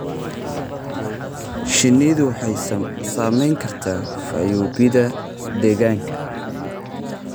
Shinnidu waxay saamayn kartaa fayoobida deegaanka.